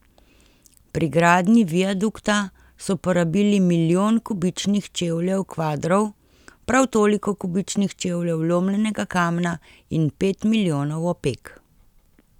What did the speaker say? Pri gradnji viadukta so porabili milijon kubičnih čevljev kvadrov, prav toliko kubičnih čevljev lomljenega kamna in pet milijonov opek.